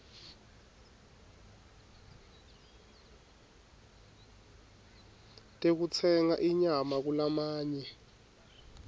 tekutsenga inyama kulamanye